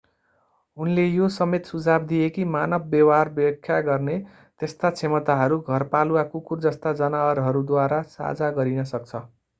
उनले यो समेत सुझाव दिए कि मानव व्यवहार व्याख्या गर्ने यस्ता क्षमताहरू घरपालुवा कुकुर जस्ता जनावरद्वारा साझा गरिन सक्छ